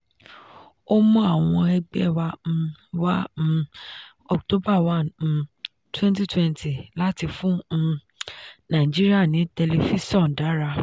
ó mú àwọn ẹgbẹ́ wá um wá um october one um twenty twenty láti fún um nàìjíríà ní tẹlifíṣọ̀n dára.